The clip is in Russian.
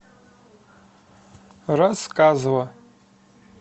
рассказово